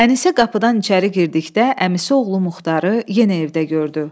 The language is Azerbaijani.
Ənisə qapıdan içəri girdikdə əmisi oğlu Muxtarı yenə evdə gördü.